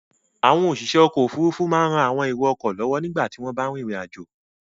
Àwọn òṣìṣẹ́ ọkọ̀-òfurufú máa ń ran àwọn èrò-ọkọ̀ lọ́wọ́ nígbà tí wọ́n bá rìnrìn-àjò.